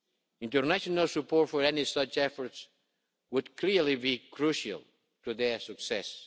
International support for any such efforts would clearly be crucial to their success.